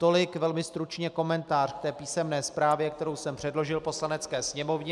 Tolik velmi stručně komentář k té písemné zprávě, kterou jsem předložil Poslanecké sněmovně.